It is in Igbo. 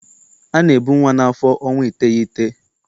A na-ebu nwa n'afọ ọnwa iteghete.